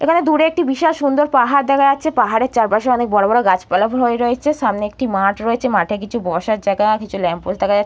এইখানে দূরে একটি বিশাল সুন্দর পাহাড় দেখা যাচ্ছে পাহাড়ের চারপাশে অনেক বড় বড় গাছপালা হয়ে রয়েছে সামনে একটি মাঠ রয়েছে মাঠে কিছু বসার জায়গা কিছু ল্যাম্পোস্ট দেখা যা--